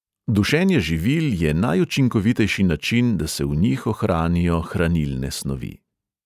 Dušenje živil je najučinkovitejši način, da se v njih ohranijo hranilne snovi.